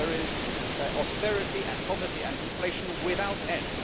There is austerity and poverty and deflation without end.